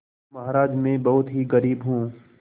महाराज में बहुत ही गरीब हूँ